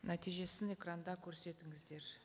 нәтижесін экранда көрсетіңіздер